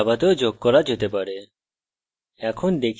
strings জাভাতেও যোগ করা যেতে পারে